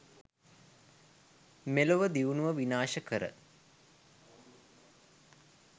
මෙලොව දියුණුව විනාශ කර